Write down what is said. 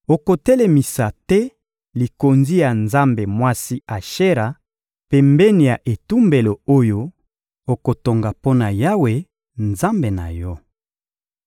Okotelemisa te likonzi ya nzambe mwasi Ashera pembeni ya etumbelo oyo okotonga mpo na Yawe, Nzambe na yo.